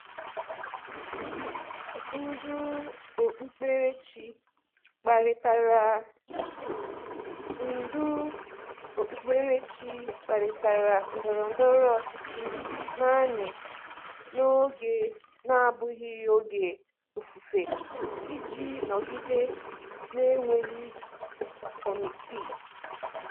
Ndị ndú okpukperechi kparịtara ndú okpukperechi kparịtara ndọrọ ndọrọ ọchịchị naanị n’oge na-abụghị oge ofufe iji nọgide na-enweghị kọmitii.